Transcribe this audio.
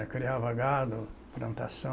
É, criavam gado, plantação.